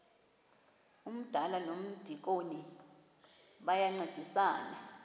umdala nomdikoni bayancedisana